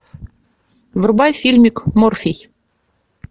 врубай фильмик морфий